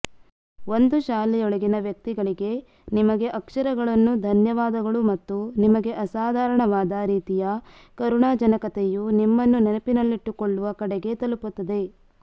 ಒಂದು ಶಾಲೆಯೊಳಗಿನ ವ್ಯಕ್ತಿಗಳಿಗೆ ನಿಮಗೆ ಅಕ್ಷರಗಳನ್ನು ಧನ್ಯವಾದಗಳು ಮತ್ತು ನಿಮಗೆ ಅಸಾಧಾರಣವಾದ ರೀತಿಯ ಕರುಣಾಜನಕತೆಯು ನಿಮ್ಮನ್ನು ನೆನಪಿನಲ್ಲಿಟ್ಟುಕೊಳ್ಳುವ ಕಡೆಗೆ ತಲುಪುತ್ತದೆ